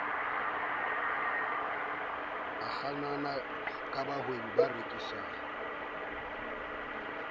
a kgannang bahwebi ba rekisang